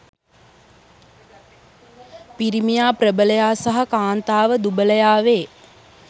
පිරිමියා ප්‍රබලයා සහ කාන්තාව දුබලයා වේ.